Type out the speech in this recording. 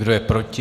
Kdo je proti?